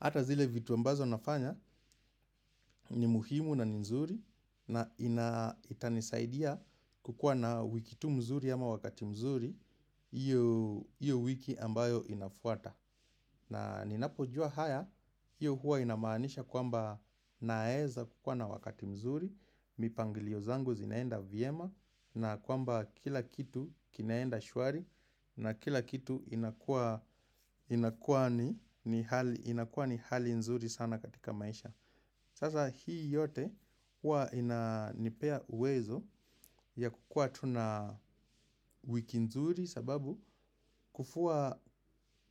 hata zile vitu ambazo nafanya ni muhimu na ni nzuri. Na ina itanisaidia kukua na wiki tu mzuri ama wakati mzuri, hiyo wiki ambayo inafuata. Na ninapojua haya, hiyo huwa inamaanisha kwamba naeza kukua na wakati mzuri, mipangilio zangu zinaenda vyema na kwamba kila kitu kinaenda shwari na kila kitu inakua ni hali nzuri sana katika maisha. Sasa hii yote huwa inanipea uwezo ya kukua tu na wiki nzuri sababu kufua,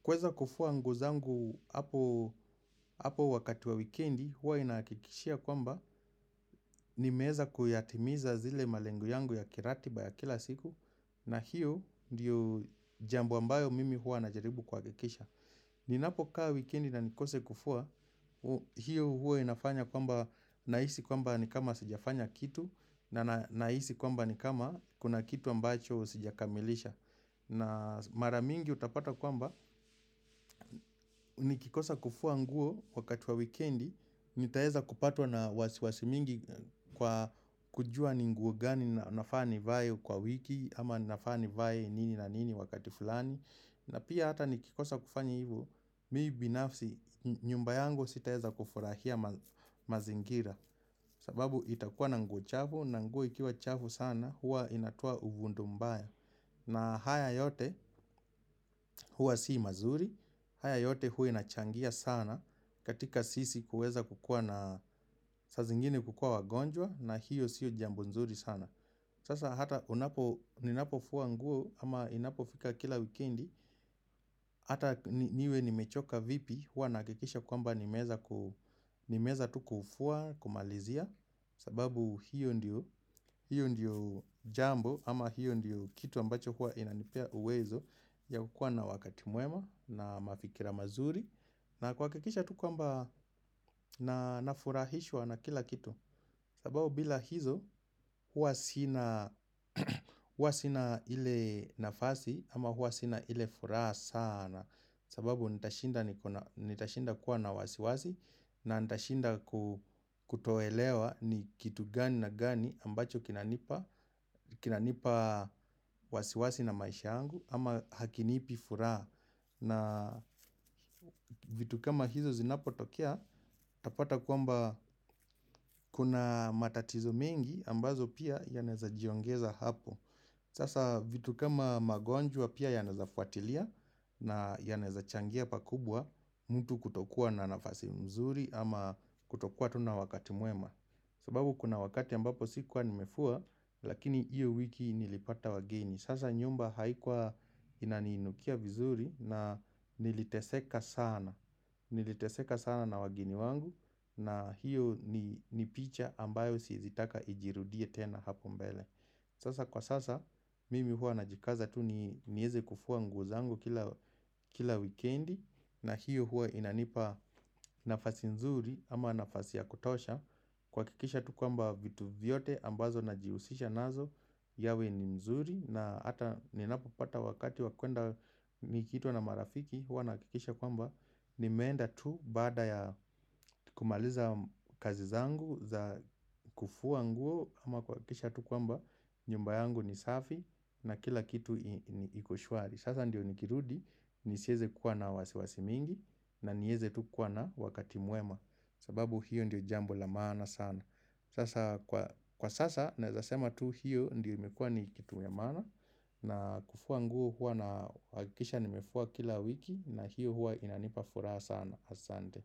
kweza kufua nguo zangu hapo wakati wa wikendi huwa inahakikishia kwamba nimeeza kuyatimiza zile malengo yangu ya kiratiba ya kila siku na hiyo ndiyo jambo ambayo mimi huwa najaribu kuhakikisha. Ninapokaa wikendi na nikose kufua, hiyo huwa inafanya kwamba nahisi kwamba ni kama sijafanya kitu na nahisi kwamba ni kama kuna kitu ambacho sijakamilisha. Na mara mingi utapata kwamba, nikikosa kufua nguo wakati wa wikendi, nitaeza kupatwa na wasiwasi mingi kwa kujua ni nguo gani na nafaa nivae kwa wiki, ama nafaa nivae nini na nini wakati fulani. Na pia hata nikikosa kufanya hivo, mii binafsi nyumba yangu sitaeza kufurahia mazingira. Sababu itakuwa na nguo chafu na nguo ikiwa chafu sana, huwa inatoa uvundo mbaya. Na haya yote huwa sii mazuri, haya yote huwa inachangia sana katika sisi kuweza kukua na saa zingine kukua wagonjwa na hiyo siyo jambo nzuri sana. Sasa hata unapo, ninapofua nguo ama inapofika kila wikendi. Hata niwe nimechoka vipi huwa nahakikisha kwamba nimeeza tu kufua kumalizia. Sababu hiyo ndiyo jambo ama hiyo ndiyo kitu ambacho huwa inanipea uwezo ya kukua na wakati mwema na mafikira mazuri. Na kuhakikisha tu kwamba na nafurahishwa na kila kitu. Sababu bila hizo huwa sina ile nafasi ama huwa sina ile furaha sana. Sababu nitashinda kuwa na wasiwasi na nitashinda kutoelewa ni kitu gani na gani ambacho kinanipa wasiwasi na maisha yangu ama hakinipi furaha na vitu kama hizo zinapotokea utapata kwamba kuna matatizo mengi ambazo pia yanaeza jiongeza hapo hasa vitu kama magonjwa pia yanawezafuatilia na yanawezachangia pa kubwa mtu kutokua na nafasimzuri ama kutokua tu na wakati mwema sababu kuna wakati ambapo sikua nimefua lakini hiyo wiki nilipata wageni. Sasa nyumba haikuwa inaniinukia vizuri na niliteseka sana na wageni wangu na hiyo ni picha ambayo siezitaka ijirudie tena hapo mbele. Sasa kwa sasa mimi hua najikaza tu nieze kufua nguo zangu kila wikendi na hiyo hua inanipa nafasi nzuri ama nafasi ya kutosha. Kuhakikisha tu kwamba vitu vyote ambazo najihusisha nazo yawe ni nzuri na hata ninapopata wakati wa kwenda nikiitwa na marafiki huwa nahakikisha kwamba nimeenda tu baada ya kumaliza kazi zangu za kufua nguo ama kuhakikisha tu kwamba nyumba yangu ni safi na kila kitu ni iko shwari. Sasa ndiyo nikirudi nisieze kuwa na wasiwasi mingi na nieze tu kuwa na wakati mwema sababu hiyo ndiyo jambo la maana sana. Kwa sasa naezasema tu hiyo ndio imekua ni kitu ya maana. Na kufua nguo huwa nahakisha nimefua kila wiki na hiyo huwa inanipa furaha sana asante.